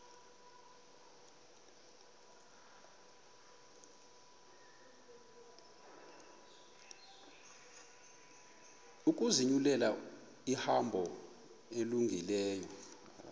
ukuzinyulela ihambo elungileyo